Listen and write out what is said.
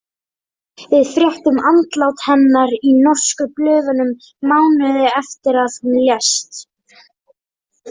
Við fréttum andlát hennar í norsku blöðunum mánuði eftir að hún lést.